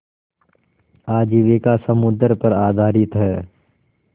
आजीविका समुद्र पर आधारित है